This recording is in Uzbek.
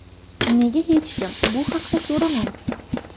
Nega hech kim bu haqda so‘ramayapti?